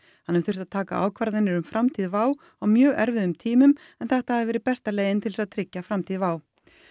hann hafi þurft að taka ákvarðanir um framtíð WOW air á mjög erfiðum tímum en þetta hafi verið besta leiðin til þess að tryggja framtíð WOW